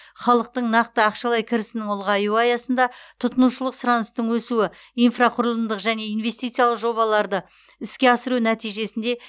халықтың нақты ақшалай кірісінің ұлғаюы аясында тұтынушылық сұраныстың өсуі инфрақұрылымдық және инвестициялық жобаларды іске асыру нәтижесінде